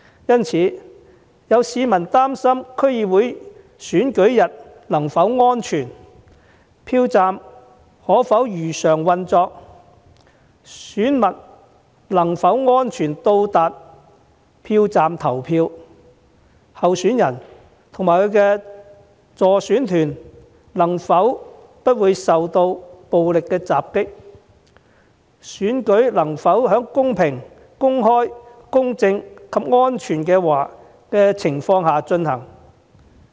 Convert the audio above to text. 因此，有市民擔心區議會選舉日是否安全，票站可否如常運作，選民能否安全抵達票站投票，候選人及其助選團能否不受暴力襲擊，選舉能否在公平、公開、公正及安全的情況下進行。